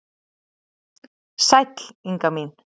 Sæll Inga mín!